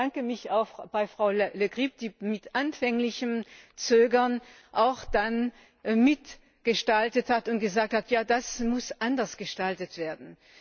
Und ich bedanke mich auch bei Frau Le Grip, die nach anfänglichem Zögern dann auch mitgestaltet hat und gesagt hat, ja, das muss anders gestaltet werden.